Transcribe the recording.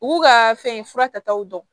U b'u ka fɛn fura taw dɔn